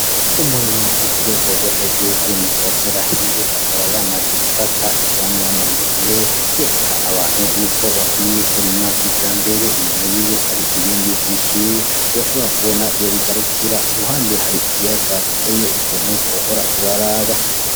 Umurimyi wo kurwego rwo hejuru ari mwi parasera hiwe akaba yamaze gufata ivyamwa mu minwe yerekana abantu yuko bakwiye kurima kijambere, inyuma yiwe hari ibindi vyinshi udashobora kubona iyo bigarukira , iruhande hari ikiyaga giteye igomwe wohora uraraba.